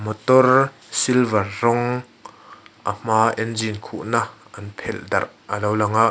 motor silver rawng a hma engine khuhna an phelh darh a lo lang a.